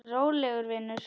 Rólegur vinur!